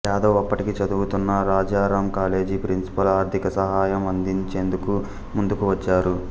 జాదవ్ అప్పటికి చదువుతున్న Rajaram college principal ఆర్థిక సహాయం అందించేందుకు ముందుకు వచ్చారు